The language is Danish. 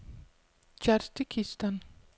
Tjadsjikistan